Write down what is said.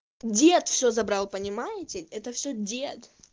дед все забрал понимаете это все дед